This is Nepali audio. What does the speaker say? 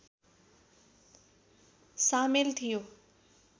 सामेल थियो